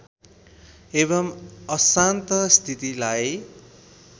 एवम् अशान्त स्थितिलाई